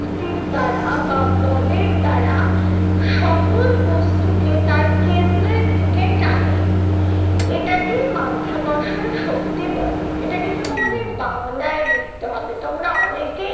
শক্তির দ্বারা বা বলের দ্বারা সকল বস্তুকে তার কেন্দ্রের দিকে টানে, এটাকেই মাধ্যাকর্ষণ শক্তি বলে। এটা কিন্তু তোমাদের বাংলায় লিখতে হবে তোমরা অনেকেই